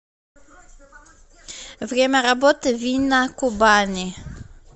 время работы вина кубани